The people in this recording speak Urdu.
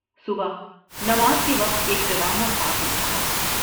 صبح نماز کے وقت ایک ڈراؤنا خواب دیکھا تھا ۔